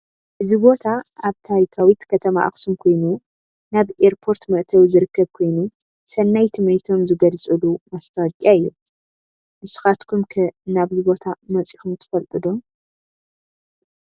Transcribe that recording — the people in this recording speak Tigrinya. እዚ ቦታ አብ ታሪካዊት ከተማ አከሱም ኮይኑ ናብ ኤርፓርት መእተዊ ዝርከብኮይኑ ሰናይ ትምኒቶም ዝግልፅሉ ማስታወቅያ እዩ። ንስካትኩም ከ ናብዚ ቦታ መፂኩም ትፍልጡ ዶ?